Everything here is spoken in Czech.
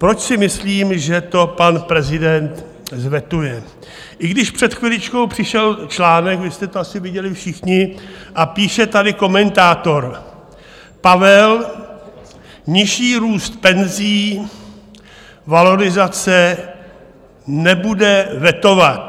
Proč si myslím, že to pan prezident vetuje, i když před chviličkou přišel článek, vy jste to asi viděli všichni, a píše tady komentátor: Pavel nižší růst penzí, valorizace nebude vetovat.